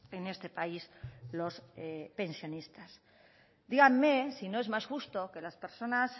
en este país los pensionistas díganme si no es más justo que las personas